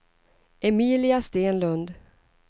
Emilia Stenlund